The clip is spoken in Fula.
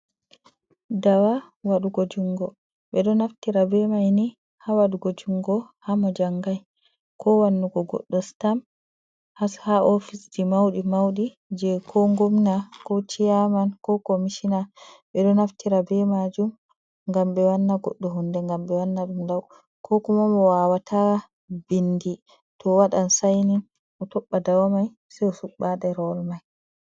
Ɗawa waɗugo jungo. Ɓe ɗo naftira ɓe mai ni ha waɗugo jungo hamo jangai ko wanugo goɗɗo sitam ha ofisji mauɗi mauɗi je ko ngomna, ko ciyaman, ko komishina. Ɓe ɗo naftira ɓe majum, ngam ɓe wanna goɗɗo hunɗe ngam ɓe wanna ɗum lau. Ko kuma mo wawata ɓinɗi to waɗan sainin o toɓɓa ɗawa mai sei o suɓɓaɗe ha ɗerewol mai.